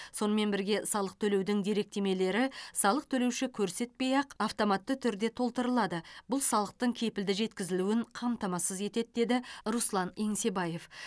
сонымен бірге салық төлеудің деректемелері салық төлеуші көрсетпей ақ автоматты түрде толтырылады бұл салықтың кепілді жеткізілуін қамтамасыз етеді деді руслан еңсебаев